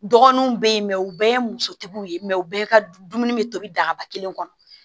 Dɔgɔnunw be yen u bɛɛ ye musotigiw ye u bɛɛ ka dumuni bɛ tobi dagaba kelen kɔnɔ